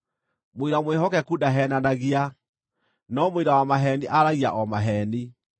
Mũira mwĩhokeku ndaheenanagia, no mũira wa maheeni aaragia o maheeni.